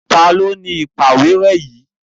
Ta ni ó ni ìpàwérẹ́ yìí?